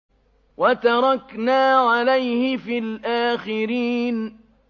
وَتَرَكْنَا عَلَيْهِ فِي الْآخِرِينَ